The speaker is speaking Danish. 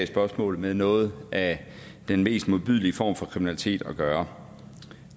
spørgsmålene med noget af den mest modbydelige form for kriminalitet at gøre